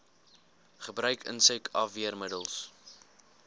gebruik insek afweermiddels